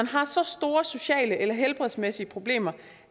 har så store sociale eller helbredsmæssige problemer